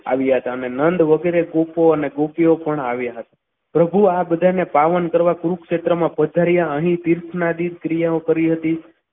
આવ્યા હતા નંદ અને ગોપો અને ગોપીઓ પણ આવ્યા હતા. પ્રભુ આ બધાને પાવન કરવા કુરુક્ષેત્રમાં પધાર્યા અહીં તીર્થ નાદિન ક્રિયાઓ કરી હતી.